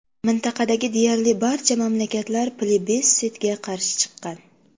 Mintaqadagi deyarli barcha mamlakatlar plebissitga qarshi chiqqan.